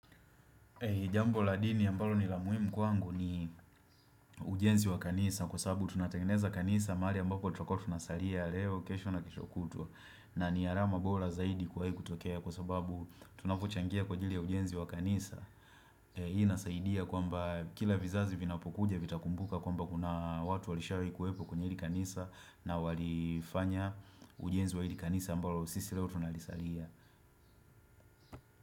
Jambo la dini ambalo ni la muhimu kwangu ni ujenzi wa kanisa kwa sababu tunatangeneza kanisa mahali ambako tutakuwa tunasalia leo kesho na keshokutwa na ni alama bora zaidi kuwahi kutokea kwa sababu tunavyochangia kwa ajili ya ujenzi wa kanisa Hii nasaidia kwamba kila vizazi vinapokuja vitakumbuka kwamba kuna watu walishawikuwepo kwenye ili kanisa na walifanya ujenzi wa hili kanisa ambalo sisi leo tunalisalia.